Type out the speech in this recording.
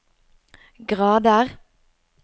grader